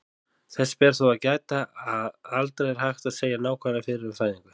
Þess ber þó að gæta, að aldrei er hægt að segja nákvæmlega fyrir um fæðingu.